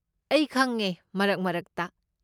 ꯑꯩ ꯈꯪꯉꯦ ꯃꯔꯛ ꯃꯔꯛꯇ꯫